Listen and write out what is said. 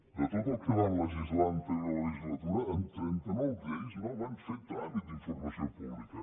de tot el que van legislar en l’anterior legislatura en trenta nou lleis no van fer tràmit d’informació pública